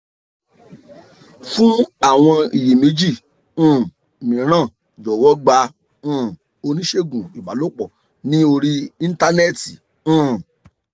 fún àwọn iyèméjì um mìíràn jọ̀wọ́ gba um oníṣègùn ìbálòpọ̀ ní orí íńtánẹ́ẹ̀tì um